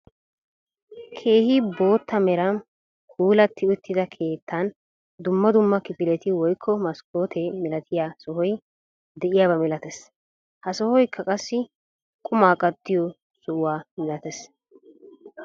Keehi bootta meran puulatii uttida keettan dumma dumma kifiletti woykko maskkoote milatiyaa sohoy de'iyaaba milatees. ha sohoykka qassi qumaa kattiyoo sohuwaa milatees.